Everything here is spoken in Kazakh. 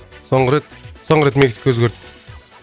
соңғы рет соңғы рет мексика өзгертті